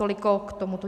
Toliko k tomuto.